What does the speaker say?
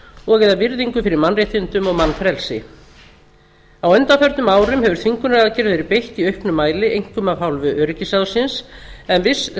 og bera virðingu fyrir mannréttindum og mannfrelsi á undanförnum árum hefur þvingunaraðgerðum verið beitt í auknum mæli einkum af hálfu öryggisráðsins en viss